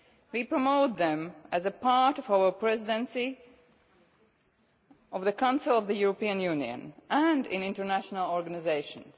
We promote them as a part of our Presidency of the Council of the European Union, and in international organisations.